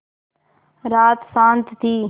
रात शान्त थी